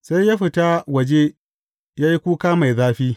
Sai ya fita waje, ya yi kuka mai zafi.